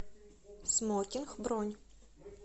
смокинг бронь